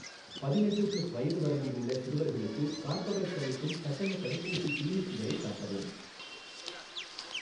பதினெட்டு ப்ளஸ் வயது வரம்பில் உள்ள சிறுவர்களுக்கு கார்பவேக்ஸ் அளிக்கும் கட்டணத் தடுப்பூசி கிளினிக்குகளைக் காட்டவும்.